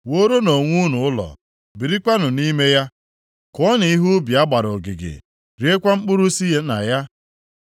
“Wuoronụ onwe unu ụlọ, birikwanụ nʼime ya; kụọnụ ihe nʼubi a gbara ogige, riekwa mkpụrụ si na ya;